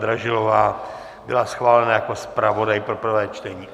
Dražilová byla schválena jako zpravodaj pro prvé čtení.